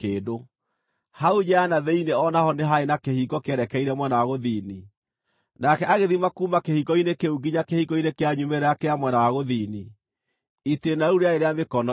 Hau nja ya na thĩinĩ o na ho nĩ haarĩ kĩhingo kĩerekeire mwena wa gũthini, nake agĩthima kuuma kĩhingo-inĩ kĩu nginya kĩhingo-inĩ kĩa nyumĩrĩra kĩa mwena wa gũthini; itĩĩna rĩu rĩarĩ rĩa mĩkono igana.